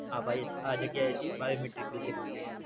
આ ભાઈ એ આ જગ્યાએ થી Biometric લીધેલું છે